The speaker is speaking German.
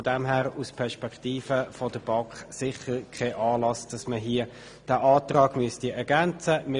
Von daher besteht aus der Perspektive der BaK kein Anlass, dass man diesen Antrag ergänzen müsste.